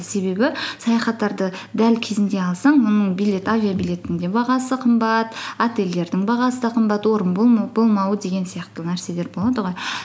себебі саяхаттарды дәл кезінде алсаң оның авиабилеттің де бағасы қымбат отельдердің бағасы да қымбат орын болмауы деген сияқты нәрселер болады ғой